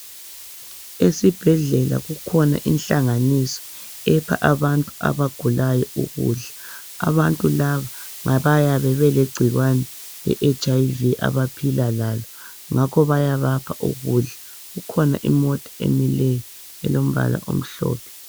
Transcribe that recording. Esibhedlela kukhona ihlanganiso epha abantu abagulayo ukudla abantu laba bayabe belegcikwane le HIV abaphila lalo ngakho bayabapha ukudla kukhona imota emileyo elombala omhlophe.